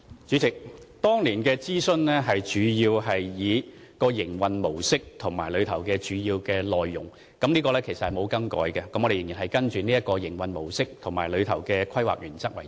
主席，當年的諮詢主要是以營運模式和主要內容為主，這是沒有更改的，我們仍然按照這種營運模式，以及當中的規劃原則為主。